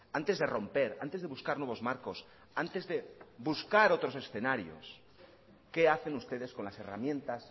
antes de romper antes de buscar nuevos marcos antes de buscar otros escenarios qué hacen ustedes con las herramientas